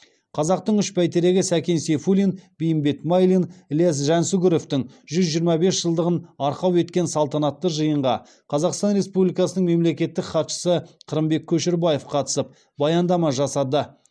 қазақтың үш бәйтерегі сәкен сейфуллин бейімбет майлин ілияс жансүгіровтің жүз жиырма бес жылдығын арқау еткен салтанатты жиынға қазақстан республикасының мемлекеттік хатшысы қырымбек көшербаев қатысып баяндама жасады